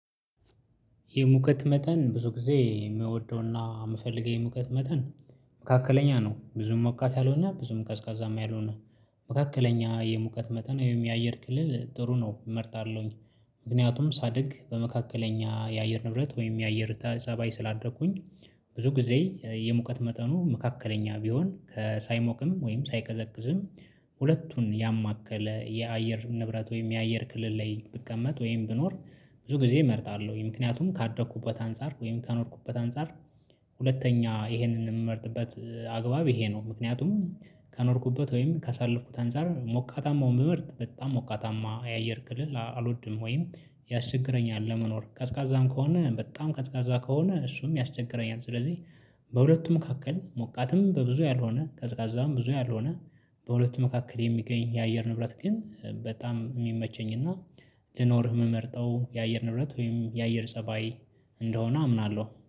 የሙቀት መጠን ብዙ ጊዜ የምወደው እና የምፈልገው የሙቀት መጠን መካከለኛ ነው ብዙም ሞቃት ያልሆነ ብዙም ቀዝቃዛም ያልሆነ መካከለኛ የሙቀት መጠን ይሄም የአየር ክልል ጥሩ ነው እመርጣለሁኝ። ምክንያቱም ሳድግ በመካከለኛ የአየር ንብረት ወይም የአየር ተ ጻባይ ስላደኩኝ። ብዙ ጊዜ የሙቀት መጠኑ መካከለኛ ቢሆን ከስ ሳይሞቅም ወይም ሳይቀዘቅዝም ሁለቱን ያማከለ የአየር ንብረት ወይም የአየር ክልል ላይ ብቀመጥ ወይም ብኖር። ብዙ ጊዜ እመርጣለሁኝ ምክንያቱም ካደኩበት አንፃር ወይም ካኖርኩበት አንፃር። ሁለተኛ ይሄንን የምመርጥበት አግባብ ይሄ ነው። ምክንያቱም ከኖርኩበት ወይም ካሳለፍኩት አንፃር ሞቃታማውን ብመርጥ በጣም ሞቃታማ የአየር ክልል አልወድም ወይም ያስቸግረኛል ለመኖር ቀዝቃዛም ከሆነ በጣም ቀዝቃዛ ከሆነ እሱም ያስቸግረኛል። ስለዚህ በሁለቱም መካከል ሞቃትም በብዙ ያልሆነ ቀዝቃዛም ብዙ ያልሆነ። በሁለቱም መካከል የሚገኝ የአየር ንብረት ግን በጣም የሚመቸኝ እና ልኖርህ የምመርጠው የአየር ንብረት ወይም የአየር ፀባይ እንደሆነ አምናለሁ